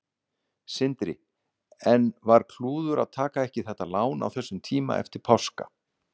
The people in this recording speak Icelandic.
Sindri: En var klúður að taka ekki þetta lán á þessum tíma eftir páska?